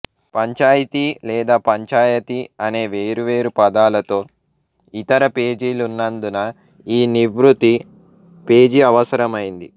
పంచాయితీ లేదా పంచాయతీ అనే వేర్వేరు పదాలతో ఇతర పేజీలున్నందున ఈ నివృత్తి పేజీ అవసరమైంది